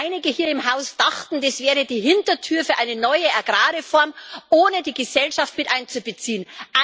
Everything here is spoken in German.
Denn einige hier im Haus dachten, das wäre die Hintertür für eine neue Agrarreform, ohne die Gesellschaft mit einzubeziehen.